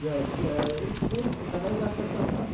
Cada um vai para a sua casa.